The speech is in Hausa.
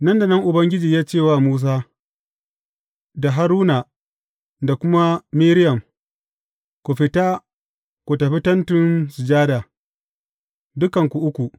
Nan da nan Ubangiji ya ce wa Musa, da Haruna da kuma Miriyam, Ku fita ku tafi Tentin Sujada, dukanku uku.